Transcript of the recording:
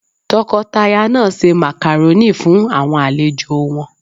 Tọkọtaya náà ṣe Màkàrónì fún àwọn àlejò won